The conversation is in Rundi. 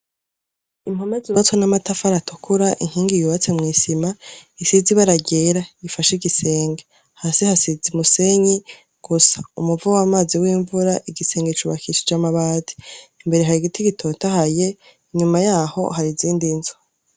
Impome zubatswe n'amatafari atukura, inkingi yubatse mw'isima, isize ibara ryera. Ifashe igisenge. Hasi hasize umusenyi, gusa umuvo w'amazi w'imvura, igisenge cubakishije amabati, imbere hari ibiti gitotahaye, inyuma yaho, hari izindi nzu.